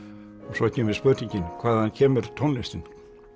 svo kemur spurningin hvaðan kemur tónlistin